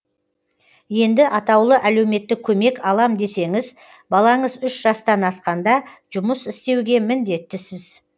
енді атаулы әлеуметтік көмек алам десеңіз балаңыз үш жастан асқанда жұмыс істеуге міндеттісіз